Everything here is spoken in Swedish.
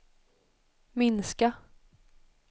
minska